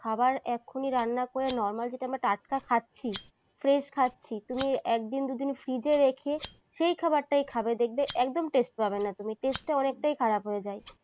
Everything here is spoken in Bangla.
খাবার এখনই রান্না করে normal যেটা আমরা টাটকা খাচ্ছি, fresh খাচ্ছি, তুমি একদিন দুদিন fridge রেখে সেই খাবারটাই খাবে। দেখবে একদম taste পাবে না তুমি, taste টা অনেকটাই খারাপ হয়ে যায়।